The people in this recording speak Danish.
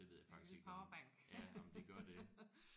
Det ved jeg faktisk ikke ja om de gør det